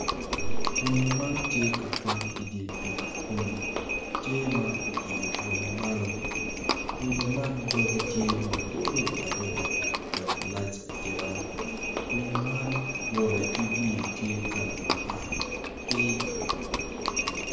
Winyo man tye ka kwang idye pii kun tye ma oilo bwome malowinyo man doge tye mabor adada dok lac atika winyo man ngute ki wiye tye kala matar ki.